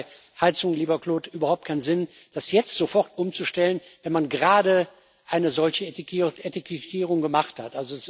Es macht bei Heizung, lieber Claude, überhaupt keinen Sinn, das jetzt sofort umzustellen, wenn man gerade eine solche Etikettierung gemacht hat.